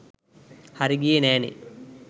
හරි ගියේ නැනේ.